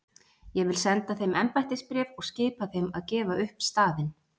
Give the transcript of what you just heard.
Ég vil senda þeim embættisbréf og skipa þeim að gefa upp staðinn.